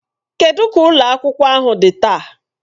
Kedụ ka ụlọ akwụkwọ ahụ dị taa?